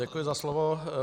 Děkuji za slovo.